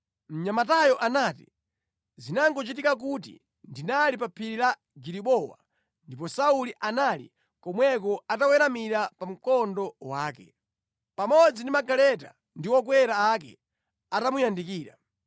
Mnyamatayo anati, “Zinangochitika kuti ndinali pa phiri la Gilibowa, ndipo Sauli anali komweko ataweramira pa mkondo wake, pamodzi ndi magaleta ndi okwera ake atamuyandikira.